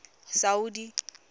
saudi